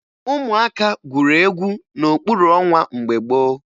Ụmụaka gwuru egwu n'okpuru ọnwa mgbe gboo